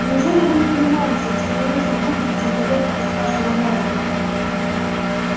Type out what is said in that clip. неужели вы не понимаете что я вижу глубже чем поверхность вашего мозга